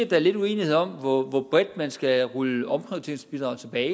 der er lidt uenighed om hvor hvor bredt man skal rulle omprioriteringsbidraget tilbage